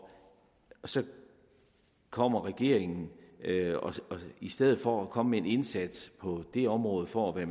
så kommer regeringen i stedet for at komme med en indsats på det område for at